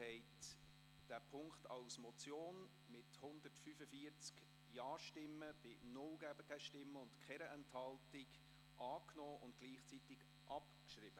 Sie haben diesen Punkt als Motion mit 145 Ja- bei 0 Gegenstimmen und keiner Enthaltung angenommen und gleichzeitig abgeschrieben.